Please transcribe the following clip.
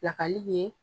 Pilakali ye